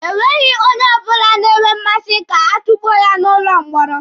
Enweghị onye na-enwe mmasị ka a tukpuo ya n'ụlọ mkpọrọ.